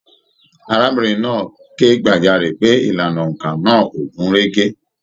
Arábìnrin náà ké gbajare pé ìlànà óńka náà o gun rege.